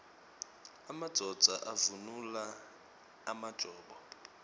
emadvodza avunula emajobo